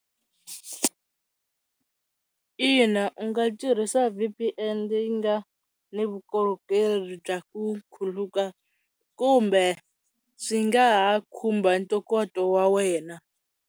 Ina u nga tirhisa V_P_N leyi nga na vukorhokeri bya ku khuluka kumbe swi nga ha khumba ntokoto wa wena.